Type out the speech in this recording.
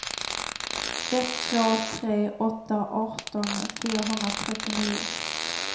ett två tre åtta arton fyrahundratrettionio